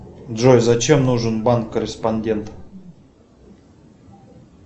джой зачем нужен банк корреспондент